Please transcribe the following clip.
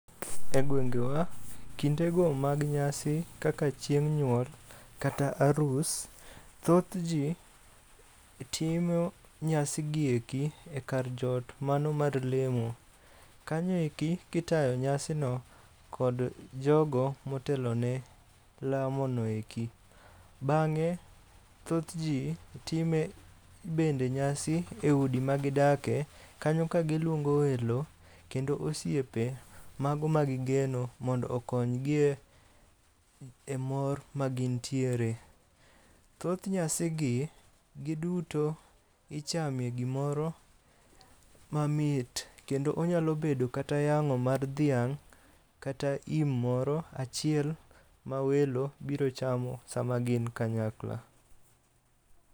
E gwengewe, kindego mag nyasi kaka chieng' nyuol kata arus. Thoth ji timo nyasi gi eki e kar joot mano mar lemo. Kanyo eki kitayo nyasino kod jogo motelone lamono eki. Bang'e thoth ji time bende nyasi e udi magidake, kanyo ka gilwongo welo kendo osiepe mago magigeno mondo okony gi e mor ma gintiere. Thoth nyasigi giduto ichame gimoro mamit, kendo onyalo bedo kata yang'o mar dhiang' kata yim moro achiel mawelo biro chamo sama gin kanyakla.